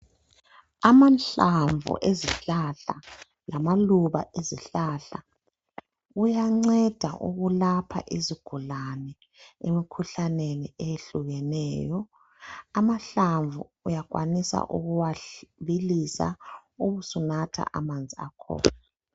Amahlamvu ezihlahla lamaluba ezihlahla ayanceda ukwulapha izigulane emkhuhlaneni eyehlukeneyo. Amahlamvu uyakwanisa ukuwabilisa ubusunatha amanzi akhona.